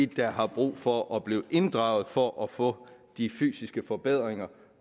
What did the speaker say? der har brug for at blive inddraget for at få de fysiske forbedringer